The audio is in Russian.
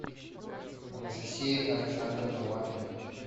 анастасия александровна лапина